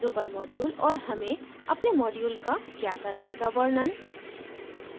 drupal module और हमें अपने module का क्या करने का वर्णन